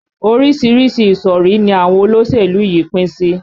Orísìírísìí ìsọ̀rí ni àwọn olóṣèlú yìí pín sí